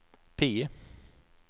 PIE